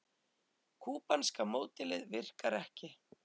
Kúbanska módelið virkar ekki